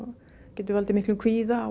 getur valdið miklum kvíða og